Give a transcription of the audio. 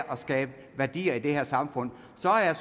skabe værdier i det her samfund så er jeg